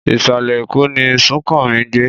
Ìsàlẹ̀ Èkó ni Súnkànmí ń gbé